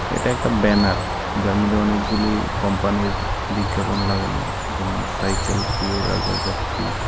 এটা একটা ব্যানার যার মধ্যে অনেকগুলি কোম্পানির বিজ্ঞাপন লাগানো যেমন- সাইকেল পিওর আগারবাত্তি ।